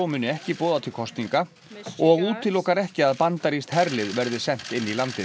muni ekki boða til kosninga og útilokar ekki að bandarískt herlið verði sent inn í landið